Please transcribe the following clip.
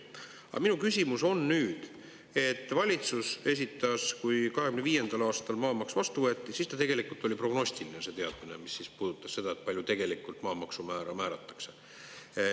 Aga minu küsimus on nüüd, et valitsus esitas, kui 2025. aastal maamaks vastu võeti, siis ta tegelikult oli prognostiline see teadmine, mis puudutas seda, palju tegelikult maamaksumäära määratakse.